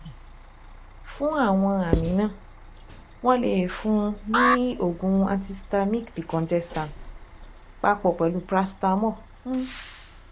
Fún àwọn àmì náà, wọ́n lè fún un ní oògùn antihistaminic decongestant papọ̀ pẹ̀lú paracetamol um